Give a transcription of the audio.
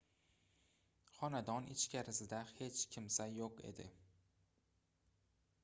xonadon ichkarisida hech kimsa yoʻq edi